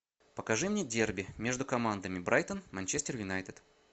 покажи мне дерби между командами брайтон манчестер юнайтед